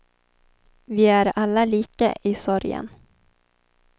Vi är alla lika i sorgen.